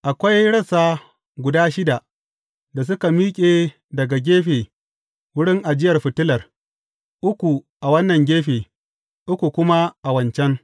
Akwai rassa guda shida da suka miƙe daga gefe wurin ajiyar fitilar, uku a wannan gefe, uku kuma a wancan.